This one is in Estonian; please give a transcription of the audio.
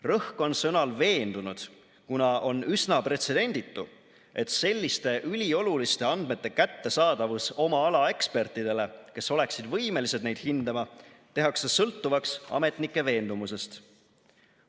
Rõhk on sõnal "veendunud", kuna on üsna pretsedenditu, et selliste ülioluliste andmete kättesaadavus oma ala ekspertidele, kes oleksid võimelised neid hindama, tehakse sõltuvaks ametnike veendumusest.